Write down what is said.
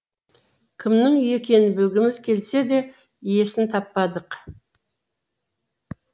кімнің үйі екенін білгіміз келсе де иесін таппадық